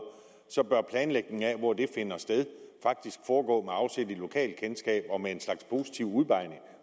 bør planlægningen af hvor det finder sted faktisk foregå med afsæt i lokalt kendskab og med en slags positiv udpegning